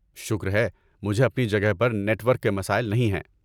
شکر ہے، مجھے اپنی جگہ پر نیٹ ورک کے مسائل نہیں ہیں۔